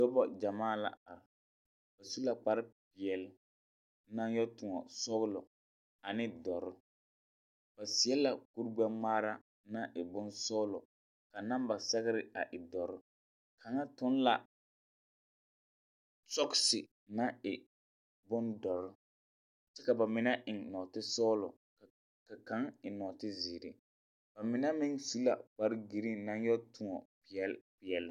Nobɔ gyamaa la are. Ba su la kparepeɛle, naŋ yɔ tõɔ sɔglɔ ane dɔr. ba seɛ la kur-gbɛ-ŋmaara naŋ e bonsɔglɔ ka namba sɛgere a e dɔr. Kaŋa toŋ la, sɔgese naŋ e bondɔr kyɛ ka ba mine eŋ nɔɔtesɔglɔ ka kaŋ eŋ nɔɔtezeere. Ba mine meŋ su la kpare-giriiŋ na yɔ tõɔ peɛl peɛl.